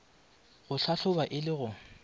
go hlahloba e le go